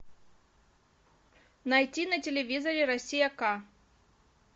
найти на телевизоре россия к